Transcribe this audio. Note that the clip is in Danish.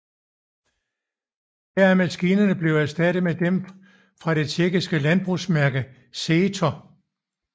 Her er maskinerne blevet erstattet med dem fra det tjekkiske landbrugsmærke Zetor